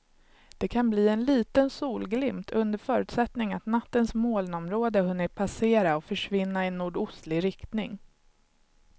Det kan bli en liten solglimt under förutsättning att nattens molnområde hunnit passera och försvinna i nordostlig riktning.